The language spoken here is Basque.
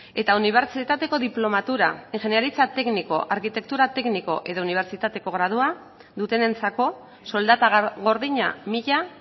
eta unibertsitateko diplomatura ingeniaritza tekniko arkitektura tekniko edo unibertsitateko gradua dutenentzako soldata gordina mila